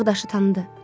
Ağdaşı tanıdı.